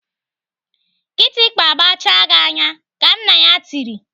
"Kịtịkpa gbachaa gị anya!" Ka nna ya tiri.